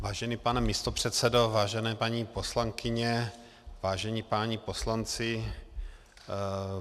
Vážený pane místopředsedo, vážené paní poslankyně, vážení páni poslanci.